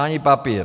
Ani papír.